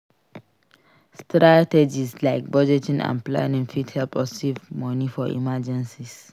Strategies like budgeting and planning fit help us save money for emergencies.